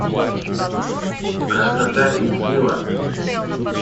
красота и сила